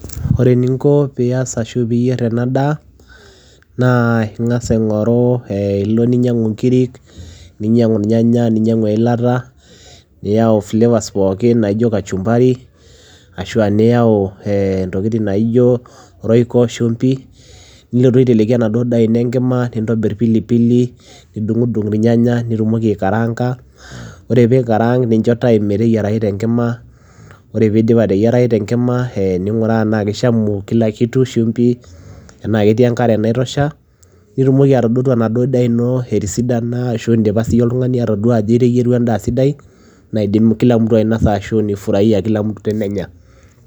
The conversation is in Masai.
Ore eninko peyiee iyier ena daa naa iloo ninyanguu inkirik ninyangu irnyanya eilata flavours naijo kachumbari royco chumvi pilipili ningaraanga oree peyie eyiara tenkima ninguraa enkare shumbi nitumokii atadotuu enaduo daa ino etisidana naidim kila mtu aainasa